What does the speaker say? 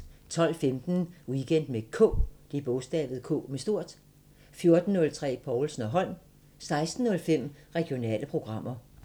12:15: Weekend med K 14:03: Povlsen & Holm 16:05: Regionale programmer